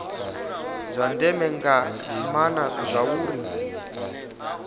zwa ndeme nga maana zwauri